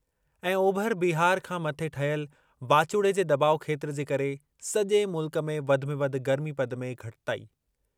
ऐं, ओभर बिहार खां मथे ठहियल वाचूड़े जे दॿाउ खेत्रु जे करे सॼे मुल्क में वधि में वधि गर्मीपद में घटिताई।